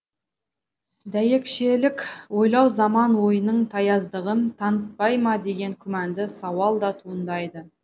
дәйекшелік ойлау заман ойының таяздығын танытпай ма деген күмәнді сауал да туындайды